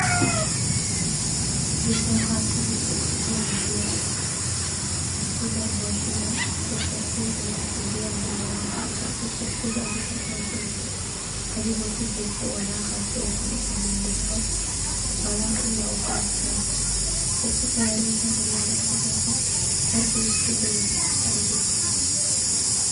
Digsi soo qad kushub sedex kob oo biya ah ,kudar boshada si tartib ah markay biyaha bilaban in ay karkaran, si tartib ah ogu dar boshada adigo si jogta eh uwalaqayo si ay san usameynin dhibco, walaq ila uu ka adkado, dhabka kayaree shan ila lix daaqiqo, marku isku dhego kadhig dhulk